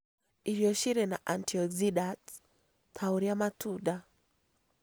Irio cirĩ na antioxidants, ta ũrĩa matunda